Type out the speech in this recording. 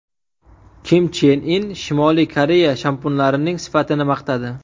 Kim Chen In Shimoliy Koreya shampunlarining sifatini maqtadi.